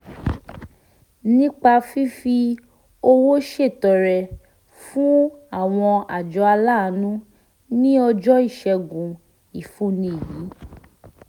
nípa fífi owó ṣètọrẹ fún àwọn àjọ aláàánú ní ọjọ́ ìṣẹ́gun ìfúnni yìí